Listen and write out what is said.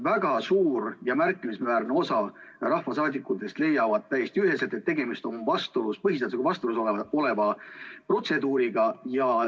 Väga suur ja märkimisväärne osa rahvasaadikutest leiab täiesti üheselt, et tegemist on põhiseadusega vastuolus oleva protseduuriga.